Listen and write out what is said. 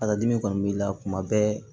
A ka dimi kɔni b'i la kuma bɛɛ